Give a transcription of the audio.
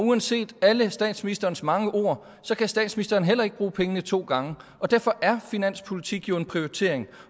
uanset alle statsministerens mange ord så kan statsministeren heller ikke bruge pengene to gange og derfor er finanspolitik jo en prioritering